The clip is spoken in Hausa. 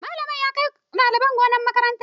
Malamin ya kai ɗalibai gonar makaranta.